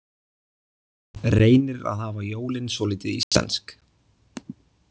Reynir að hafa jólin svolítið íslensk